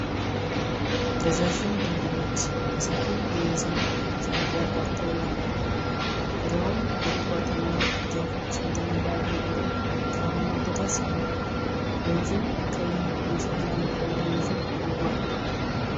ረዣዥም ድልድዮች የሰፊ ወንዝን ሸለቆ አቋርጠው ያልፋሉ። ዙሪያውን በቁጥቋጦና ዛፎች የተሞላ አረንጓዴ ተራራማ ቦታ ሲሆን፣ ወንዙም ቀይ የሸክላማ ውሀ ይዞ ይጓል።